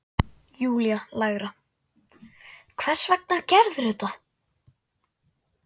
Júlía lægra: Hvers vegna gerðirðu þetta?